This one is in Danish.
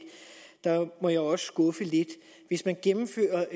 må jeg også skuffe lidt hvis man gennemfører